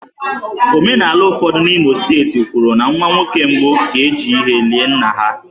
Omenala ụfọdụ n'Imo steeti kwuru na nwa nwoke mbụ ga-eji ehi lie nna ha